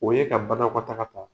O ye ka banakɔ taga ta